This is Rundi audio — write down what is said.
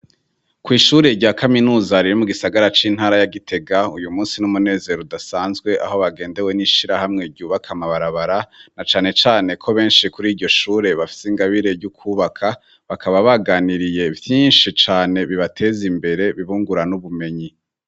Kw'ishure rya kaminuza riri mugisagara c'intara ya gitega uyumunsi n'umunezero udasanzwe aho bagendewe n'ishirahamwe ryubaka amabarabara na canecane ko benshi kur'iryoshure bafite ingabire ryukubaka bakaba baganiriye vyinshi cane bibatez'imbere, bibungura n'ubumenyi.